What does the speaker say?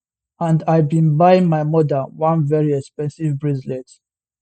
and i bin buy my mother one very expensive bracelet